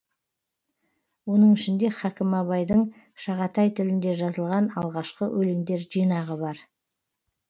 оның ішінде хакім абайдың шағатай тілінде жазылған алғашқы өлеңдер жинағы бар